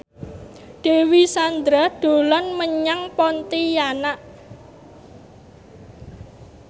Dewi Sandra dolan menyang Pontianak